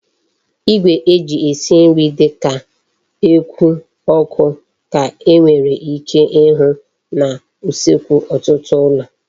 Igwe eji esi nri di ka eku oku ka e nwere ike ihu na usekwu otutu ulo